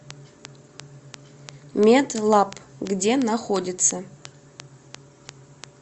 медлаб где находится